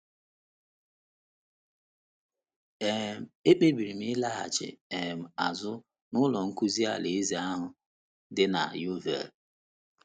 um Ekpebiri m ịlaghachi um azụ n’Ụlọ Nzukọ Alaeze ahụ dị na Yeovil.